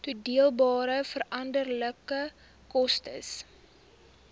toedeelbare veranderlike koste